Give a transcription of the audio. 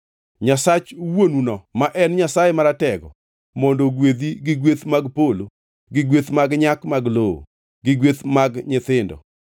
Nyasach wuonuno ma en Nyasaye Maratego, mondo ogwedhi gi gweth mag polo gi gweth mag nyak mag lowo, gi gweth mag nyithindo.